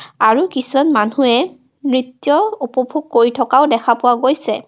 আৰু কিছুৱান মানুহে নৃত্য উপভোগ কৰি থকাও দেখা পোৱা গৈছে.